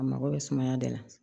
A mago bɛ sumaya da la